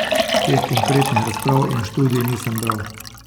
Teh konkretnih razprav in študij nisem bral.